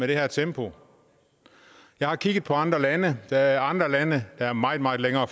det her tempo jeg har kigget på andre lande der er andre lande der er meget meget længere